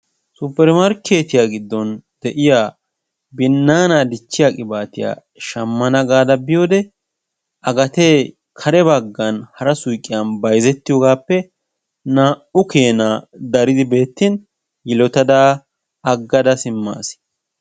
Supper markkettiya gidon de'iya binnaana dichchiya qibaatiya shammana gaada biyodeba gatee kare bagan hara suyqqiyan bayzzettiyoogasaappe naa'u keenaa daridi beettin yilottada agada simmaas.